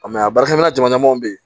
a baarakɛminɛn caman bɛ yen